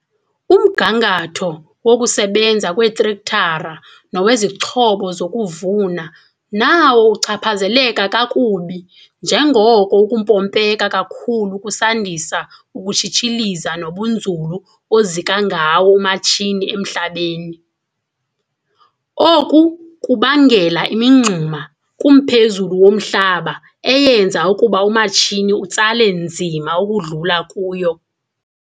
Umgangatho wokusebenza kweetrektara nowezixhobo zokuvuna nawo uchaphazeleka kakubi njengoko ukumpompeka kakhulu kusandisa ukutshitshiliza nobunzulu ozika ngawo umatshini emhlabeni. Oku kubangela imingxuma kumphezulu womhlaba eyenza ukuba umatshini utsale nzima ukudlula kuyo.